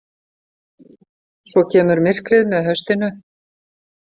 Svo kemur myrkrið með haustinu.